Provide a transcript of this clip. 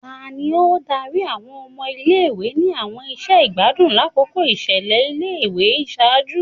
Tani o dari awọn ọmọ ile-iwe ni awọn iṣẹ igbadun lakoko iṣẹlẹ ile-iwe iṣaaju?